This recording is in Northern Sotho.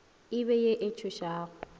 e be ye e tsošago